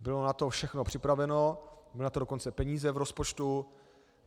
Bylo na to všechno připraveno, byly na to dokonce peníze v rozpočtu.